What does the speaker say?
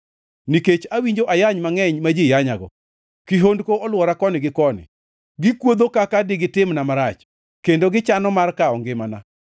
Nikech awinjo ayany mangʼeny ma ji yanyago, kihondko olwora koni gi koni; gikuodho kaka digitimna marach kendo gichano mar kawo ngimana.